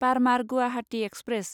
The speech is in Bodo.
बार्मार गुवाहाति एक्सप्रेस